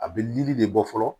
A bɛ yiri de bɔ fɔlɔ